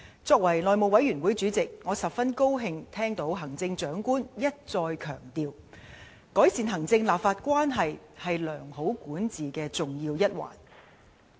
作為內務委員會主席，我十分高興聽到行政長官一再強調，改善行政立法關係是良好管治的重要一環。